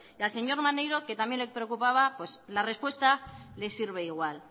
y al señor maneiro que también le preocupaba pues la respuesta le sirve igual